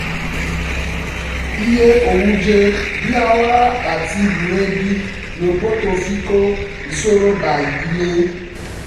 iye oúnjẹ bíi wàrà àti búrẹdì ń pọ̀ tó fi kó ìṣòro bá ìdílé